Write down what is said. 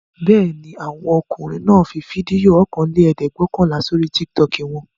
Bẹ́ẹ̀ ni, àwọn ọmọkùnrin náà fi fídíò ọ̀kanlẹ́ẹ̀dẹ́gbẹ̀ọ̀kànlá sórí Tiktok wọn.